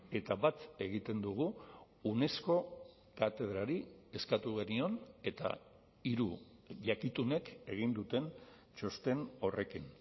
eta bat egiten dugu unesco katedrari eskatu genion eta hiru jakitunek egin duten txosten horrekin